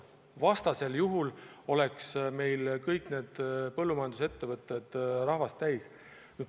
Vastasel juhul oleks meil kõik põllumajandusettevõtted rahvast täis.